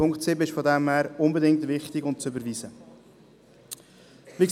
Punkt 7 ist deshalb besonders wichtig und muss unbedingt überwiesen werden.